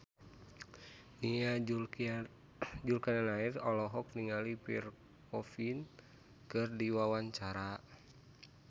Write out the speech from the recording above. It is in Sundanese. Nia Zulkarnaen olohok ningali Pierre Coffin keur diwawancara